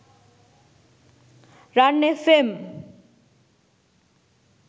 ran fm